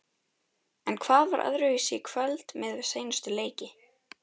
En hvað var öðruvísi í kvöld miðað við seinustu leiki?